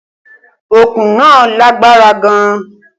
Okùn náà lágbára gan-an